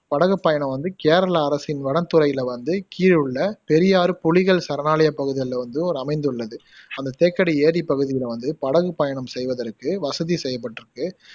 படகுப்பயணம் வந்து கேரள அரசின் வனத்துறைல வந்து பெரியார் புலிகள் சரணாலயப் பகுதிகள்ல வந்து ஒரு அமைந்துள்ளது அந்த தேக்கடி ஏரிப்பகுதியில வந்து படகுப்பயணம் செய்வதற்கு வசதி செய்யப்பட்டிருக்கு